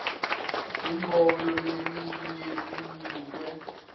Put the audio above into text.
umbono lelinye linikwe